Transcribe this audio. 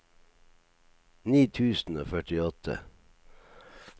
ni tusen og førtiåtte